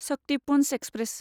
Shaktipunj express